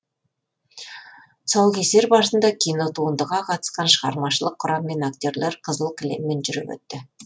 тұсаукесер барысында кинотуындыға қатысқан шығармашылық құрам мен актерлер қызыл кілеммен жүріп өтті